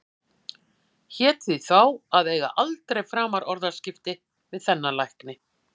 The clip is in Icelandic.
Hét því þá að eiga aldrei framar orðaskipti við þennan lækni.